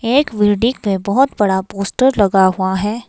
एक में बहुत बड़ा पोस्टर लगा हुआ है।